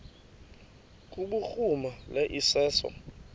kubhuruma lo iseso